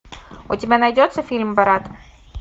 у тебя найдется фильм брат